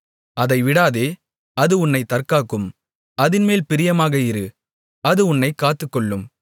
அதை விடாதே அது உன்னைத் தற்காக்கும் அதின்மேல் பிரியமாக இரு அது உன்னைக் காத்துக்கொள்ளும்